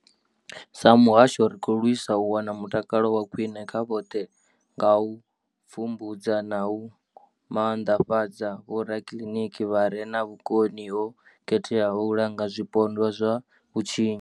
Sa muhasho, ri khou lwisa u wana mutakalo wa khwine kha vhoṱhe nga u pfumbudza na u maanḓafhadza vhorakiliniki vha re na vhukoni ho khetheaho u langa zwipondwa zwa vhutshinyi.